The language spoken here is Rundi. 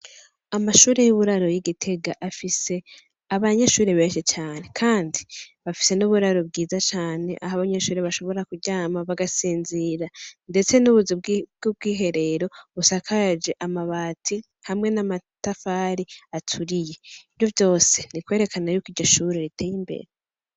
Amashure y'uburaro y'igitega, afise abanyeshure benshi cane Kandi bafise n'uburaro bwiza cane aho abanyeshure bashobora kuryama bagasinzira ndetse n'ubuzu bubwiherero ,busakajwe amabati hamwe n'amatafari aturiye ivyovyose n'ukwerekana k'iryo Shure riteye imbere.